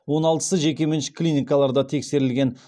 он алтысы жекеменшік клиникаларда тексерілген